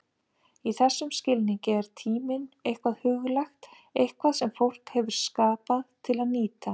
Í þessum skilningi er tíminn eitthvað huglægt, eitthvað sem fólk hefur skapað til að nýta.